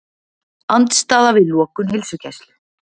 Andstaða við lokun heilsugæslu